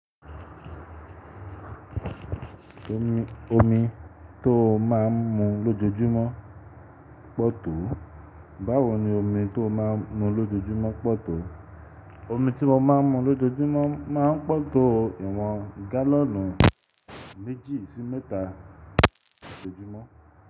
Omi tó má a ń mu lojojumo ń pọ̀ tó. Báwo ni omi tó má a ń mu lojojumo ń pọ̀ tó? Omi tí mo má ń mu lojojumo má ń pọ̀ tó iwọn gálọ̀nù méjì sí mẹ́ta lojojumo.